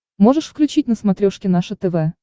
можешь включить на смотрешке наше тв